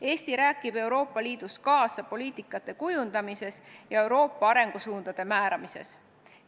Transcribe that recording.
Eesti räägib Euroopa Liidus kaasa poliitikate kujundamises ja Euroopa arengusuundade määramises.